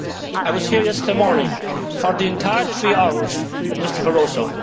I was here yesterday morning for the entire three hours with Mr Barroso.